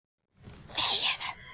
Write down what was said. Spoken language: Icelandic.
Á ég að skríða í gólfinu?